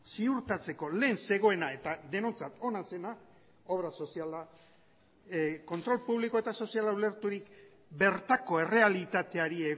ziurtatzeko lehen zegoena eta denontzat ona zena obra soziala kontrol publiko eta soziala ulerturik bertako errealitateari